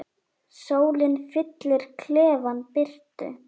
Sólin fyllir klefann birtu.